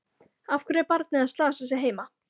Af hverju er barnið að slasa sig heima?